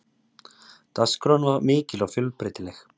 Dagskráin var mikil og fjölbreytileg